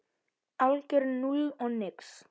Algjört núll og nix.